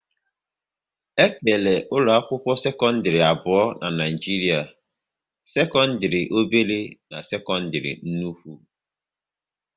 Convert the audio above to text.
E kere ụlọ akwụkwọ sekọndrị abụọ n'Naijiria: sekọndrị obere na sekọndrị nnukwu